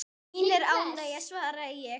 Mín er ánægjan svaraði ég.